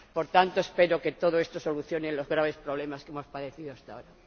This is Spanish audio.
Por tanto, espero que todo esto solucione los graves problemas que hemos padecido hasta ahora.